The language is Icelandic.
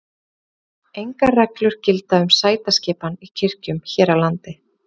Engar reglur gilda um sætaskipan í kirkjum hér á landi.